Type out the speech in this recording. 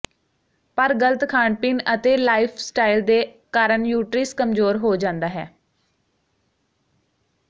ਪਰ ਗਲਤ ਖਾਣ ਪੀਣ ਅਤੇ ਲਾਈਫਸਟਾਈਲ ਦੇ ਕਾਰਨ ਯੂਟ੍ਰਿਸ ਕਮਜ਼ੋਰ ਹੋ ਜਾਂਦਾ ਹੈ